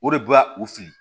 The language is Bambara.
O de bɛ u fili